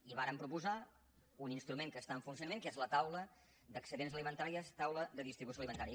i vàrem proposar un instrument que està en funcionament que és la taula d’excedents alimentaris taula de distribució alimentària